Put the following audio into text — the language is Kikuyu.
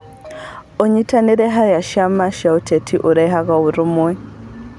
ũnyitanĩri harĩ ciama cia kĩũteti ũrehaga ũrũmwe.